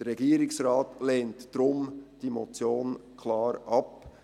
Der Regierungsrat lehnt diese Motion deshalb klar ab.